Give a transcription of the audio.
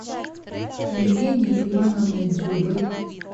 евгенией ивановной дзюбой